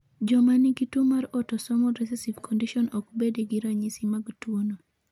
Joma nigi tuo mar autosomal recessive condition ok bed gi ranyisi mag tuono.